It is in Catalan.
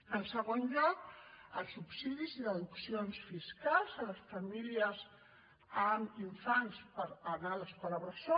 en segon lloc els subsidis i deduccions fiscals a les famílies amb infants per anar l’escola bressol